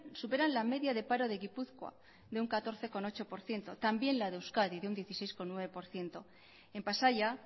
superan la media de paro de gipuzkoa de un catorce coma ocho por ciento también la de euskadi de un dieciséis coma nueve por ciento en pasaia